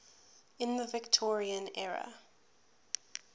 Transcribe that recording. in the victorian era